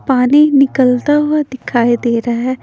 पानी निकलता हुआ दिखाई दे रहा है।